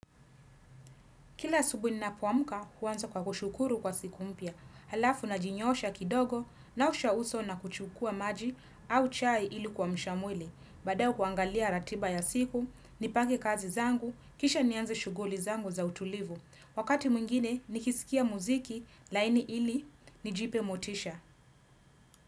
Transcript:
Kila asubuhi ninapoamka, huanza kwa kushukuru kwa siku mpya. Halafu najinyosha kidogo, naosha uso na kuchukua maji au chai ili kuamsha mwili. Badaye kuangalia ratiba ya siku, nipange kazi zangu, kisha nianze shuguli zangu za utulivu. Wakati mwingine, nikisikia muziki, laini ili, nijipe motisha.